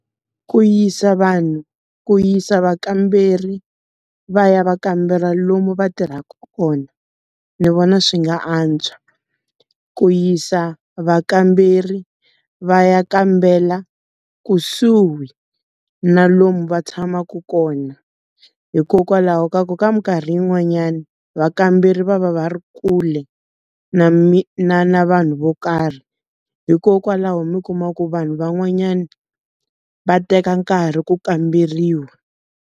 Ku yisa vanhu. Ku yisa vakamberi va ya va kambela lomu va tirhaka kona, ni vona swi nga antswa. Ku yisa vakamberi va ya kambela kusuhi na lomu va tshamaku kona. Hikokwalaho ka ku ka minkarhi yin'wanyani, vakamberi va va va ri kule na na na vanhu vo karhi. Hikokwalaho mi kuma ku vanhu vanhwanyana, va teka nkarhi ku kamberiwa.